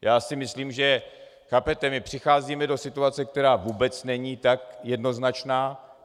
Já si myslím, že - chápete, my přicházíme do situace, která vůbec není tak jednoznačná.